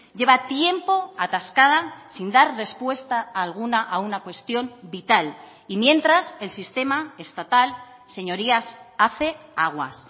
lleva tiempo atascada sin dar respuesta alguna a una cuestión vital y mientras el sistema estatal señorías hace aguas